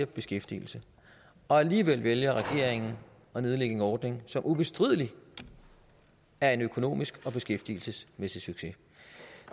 beskæftigelse alligevel vælger regeringen at nedlægge en ordning som ubestrideligt er en økonomisk og beskæftigelsesmæssig succes